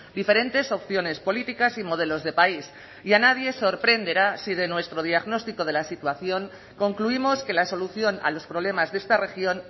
diferentes opciones políticas y modelos de país y a nadie sorprenderá si de nuestro diagnóstico de la situación concluimos que la solución a los problemas de esta región